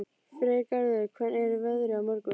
Freygarður, hvernig er veðrið á morgun?